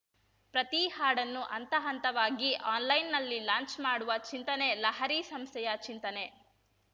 ಪ್ರತೀ ಹಾಡನ್ನು ಹಂತ ಹಂತವಾಗಿ ಆನ್‌ಲೈನ್‌ನಲ್ಲಿ ಲಾಂಚ್‌ ಮಾಡುವ ಚಿಂತನೆ ಲಹರಿ ಸಂಸ್ಥೆಯ ಚಿಂತನೆ